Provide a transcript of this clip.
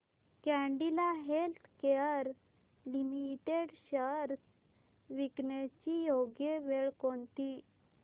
Cadila healthcare limited shares विकण्याची योग्य वेळ कोणती